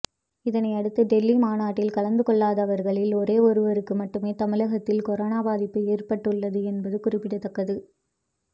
இதனை அடுத்து டெல்லி மாநாட்டில் கலந்து கொள்ளாதவர்களில் ஒரே ஒருவருக்கு மட்டுமே தமிழகத்தில் கொரோனா பாதிப்பு ஏற்பட்டுள்ளது என்பது குறிப்பிடத்தக்கது